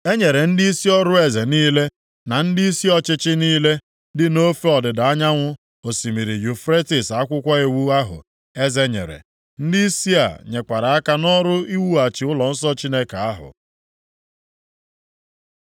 E nyere ndịisi ọrụ eze niile, na ndịisi ọchịchị + 8:36 Ndịisi ọrụ eze bụ ndị ọchịchị nke mpaghara dị iche iche nke alaeze ahụ dị nʼaka. Ndịisi ọchịchị ọzọ niile na-arụ nʼokpuru ha. niile dị nʼofe ọdịda anyanwụ osimiri Yufretis akwụkwọ iwu ahụ eze nyere. Ndịisi a nyekwara aka nʼọrụ iwughachi ụlọnsọ Chineke ahụ.